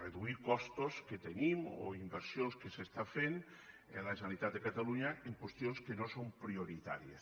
reduir costos que tenim o inversions que s’està fent des de la generalitat de catalunya en qüestions que no són prioritàries